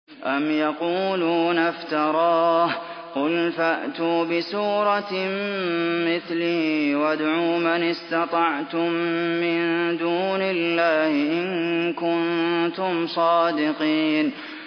أَمْ يَقُولُونَ افْتَرَاهُ ۖ قُلْ فَأْتُوا بِسُورَةٍ مِّثْلِهِ وَادْعُوا مَنِ اسْتَطَعْتُم مِّن دُونِ اللَّهِ إِن كُنتُمْ صَادِقِينَ